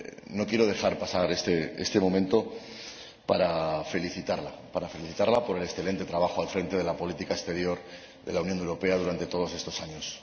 no quiero dejar pasar este momento sin felicitarla por el excelente trabajo al frente de la política exterior de la Unión Europea durante todos estos años.